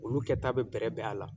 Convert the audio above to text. Olu kɛ ta bi bɛrɛ bɛn a la.